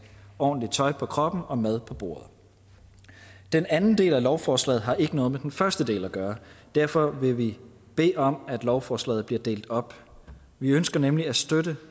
ordentligt tøj på kroppen og mad på bordet den anden del af lovforslaget har ikke noget med den første del at gøre derfor vil vi bede om at lovforslaget bliver delt op vi ønsker nemlig at støtte